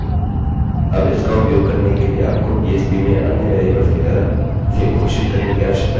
अबइसका उपयोग करने के लिए आपको php में अन्य वेरिएबल्स की तरह इसे घोषित करने की आवश्यकता नहीं है